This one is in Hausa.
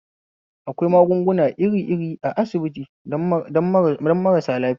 Akwai magunguna irir iri a asibiti don marasu lafiya